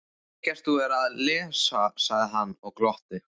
Þykist þú vera að lesa, sagði hann og glotti.